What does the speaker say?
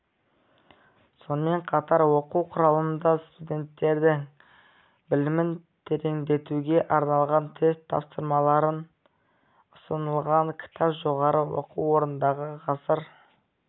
сонымен қатар оқу құралында студенттердің білімін тереңдетуге арналған тест тапсырмалары ұсынылған кітап жоғары оқу орындарындағы ғасыр